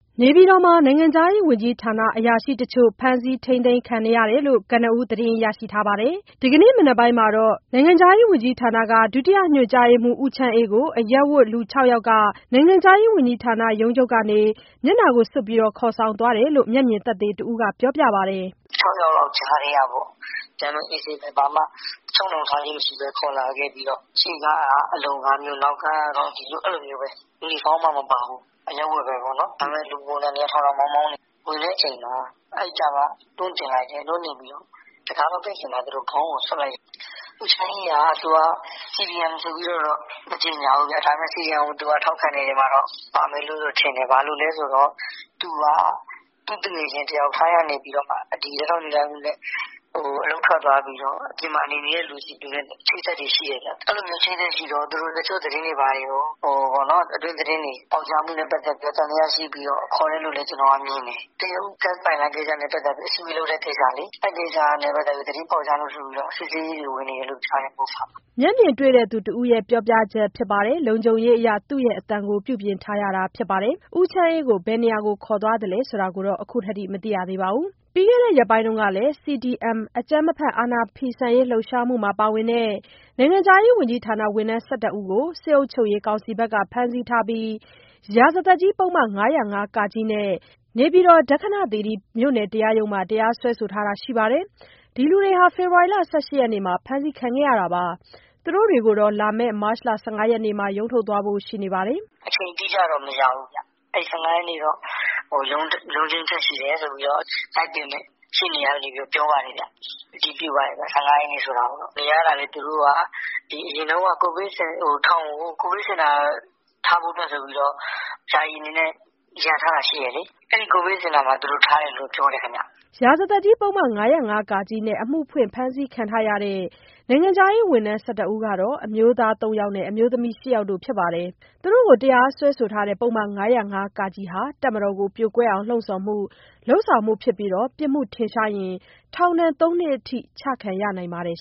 နေပြည်တော်က နိုင်ငံခြားရေးဝန်ကြီးဌာန အရာရှိတချို့ကို အရပ်ဝတ်တွေ ဒီကနေ့ လာရောက်ဖမ်းဆီးတာ ရှိခဲ့တယ်လို့ ကနဦးသတင်းရထားတာပါ။ ဒီကနေ့မနက်ပိုင်းမှာတော့ နိုင်ငံခြားရေးဝန်ကြီးဌာန ဒုညွှန်မှူး ဦးချမ်းအေးကို အရပ်ဝတ်လူ ၆ ယောက်က နိုင်ငံခြားရေးဝန်ကြီးဌာနရုံးချုပ်ကနေ မျက်နှာစွပ်ကာ ခေါ်ဆောင်သွားတယ်လို့ မျက်မြင်သက်သေတဦးကပြောပါတယ်။ "၆ ယောက်လောက်ကြားထဲကပေါ့... ဒီတိုင်း အေးဆေးပဲ... ဘာမှ ချုပ်နှောင်ထားခြင်းမရှိဘဲ၊ ခေါ်လာခဲ့ပြီးတော့ ရှေ့ကားကလည်း အလုံကားမျိုး နောက်ကားကလည်း အလုံကားပဲ။ ယူနီဖောင်း မပါဘူး။ အရပ်ဝတ်ပဲ.. လူပုံစံတွေကတော့ ထောင်ထောင်မောင်းမောင်းတွေ ဝင်တဲ့ အချိန်မှာ တွန်းတင်တယ်။ နောက်ကားပေါ်ရောက်တော့ တံခါးမပိတ်ခင်မှာ ခေါင်းကို စွပ်လိုက်တယ်။ အဲဒါ လေးပါဗျ။ ဦးချမ်းအေးက သူက CDM လို့တော့ မကြေငြာဘူး။ ဒါပေမဲ့ ထောက်ခံမယ့်ထဲမှာတော့ ပါမယ်ထင်တယ်။ ဘာလို့လဲဆိုတော့ သူက သူ့သူငယ်ချင်း တယောက် ထိုင်းကနေပြီးတော့ လက်ထောက်ညွှန်ကြားရေးမှူးနဲ့ အလုပ်ထွက်သွားပြီးတော့ အပြင်မှာနေတဲ့သူနဲ့ အချိတ်အဆက်တွေ ရှိတယ်ဗျ။ အချိတ်အဆက်ရှိတော့ အတွင်းသတင်းတွေ ပေါက်ကြားမှုနဲ့ ပတ်သက်ပြီးတော့ သံသယရှိပြီးတော့ ခုလို ခေါ်တယ်လို့လည်း ကျနော်က မြင်တယ်။ တရုတ်ဂတ်စ်ပိုက်လိုင်းကိစ္စနဲ့ ပတ်သတ်လို့ အစည်းအဝေးလုပ်တဲ့ကိစ္စလေ... အဲဒီကိစ္စနဲ့ပတ်သတ်ပြီး သတင်းပေါက်ကြားလို့ဆိုပြီး စစ်ဆေးရေးဝင်နေတယ်... MOFA မှာလေ။" မျက်မြင်တဲ့ သူတဦးပြောပြချက်ဖြစ်ပြီး လုံခြုံရေးအရ အသံပြုပြင်ထားရတာဖြစ်ပါတယ်။ ဦးချမ်းအေးကို ဘယ်ခေါ်ဆောင်သွားသလဲ ဆိုတာကတော့ ခုထိမသိရသေးပါဘူး။ ပြီးခဲ့တဲ့ ရက်ပိုင်းကလည်း CDM အကြမ်းမဖက် အာဏာဖီဆန်ရေး လှုပ်ရှားမှုမှာ ပါဝင်တဲ့ နိုင်ငံခြားရေးဝန်ကြီးဌာန ဝန်ထမ်း ၁၁ ယောက်ကို စစ်အုပ်ချုပ်ရေးကောင်စီဘက်က ဖမ်းဆီးထားပြီး ရာဇသတ်ကြီးပုဒ်မ ၅၀၅(က)နဲ့ နေပြည်တော် ဒက္ခဏသီရိမြို့နယ်တရားရုံးမှာ တရားစွဲဆိုထားတာရှိပါတယ်။ ဒီလူတွေဟာ ဖေဖော်ဝါရီ ၁၈ ရက်နေ့မှာ အဖမ်းခံခဲ့ရတာပါ။ သူတို့တွေကိုတော့ လာမယ့် မတ် ၁၅ ရက်နေ့မှာ ရုံးထုတ်သွားဖို့ ရှိပါတယ်။ "အချိန်တိကျတော့ မသိရသေးဘူး။ အဲဒီ ၁၅ ရက်နေ့တော့ ရုံးချိန်းထပ် ရှိတယ်ဆိုပြီး သိတယ်။ လိုက်ပေးမယ့် ရှေ့နေတွေဆီကနေ ပြောပါတယ်ဗျ။ ၁၅ ရက်နေ့ဆိုတာကိုတော့ အတည်ပြုပါတယ်။ နေရတာလည်း သူတို့က ထောင်ကို အရင်တုန်းက ကိုဗစ်စင်တာထားဖို့အတွက်ဆိုပြီး ယာယီအနေနဲ့ လုပ်ထားတာရှိတယ်လေ။ အဲဒီကိုဗစ်စင်တာမှာထားတယ်လို့ ပြောတယ်။" ရာဇသတ်ကြီးပုဒ်မ ၅၀၅(က)နဲ့ အမှုဖွင့်ဖမ်းဆီးခံထားရတဲ့ နိုင်ငံခြားရေးဝန်ထမ်း ၁၁ ယောက်ကတော့ အမျိုးသား ၃ ယောက်နဲ့ အမျိုးသမီး ၈ ယောက်တို့ ဖြစ်ပါတယ်။ သူတို့ကို တရားစွဲဆိုတဲ့ ပုဒ်မ ၅၀၅ (က) ဟာ တပ်မတော် ကို ပြိုကွဲအောင် လှုံ့ဆော်မှု/လုပ်ဆောင်မှု ဖြစ်ပြီး ပြစ်မှုထင်ရှားရင် ထောင်ဒဏ် သုံး နှစ်ထိ ချမှတ်ခံရနိုင်ပါတယ်